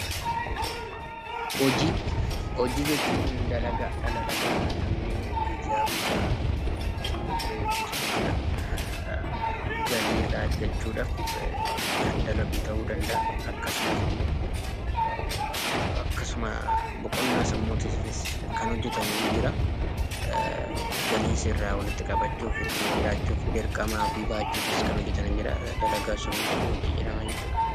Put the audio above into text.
Hojii, hojii jechuu dalagaadha. Dalagaa Namni guyyaa guyyaan itti bahee hojjetu jechuudha. Galii irraa argachuudhaaf Kan dalagu tahuu danda'a akkasumaas immoo akkasuma boqonnaa sammuutiifis kan hojjetamu in jira. Galiis irraa walitti qabachuuf, ittiin jiraachuuf, dirqama ofii bahachuuf kan hojjetanii in jira dalagaan sun hunduu hojii jedhama.